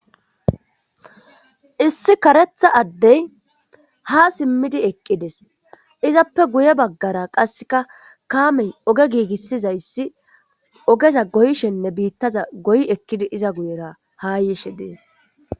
Issi karetha addey ha simmidi eqqides, izappe guye baggara qasseka kaamey oge giigissizayssi ogeza goyshenne biittaza goy ekkidi iza guyera ha yishe dees.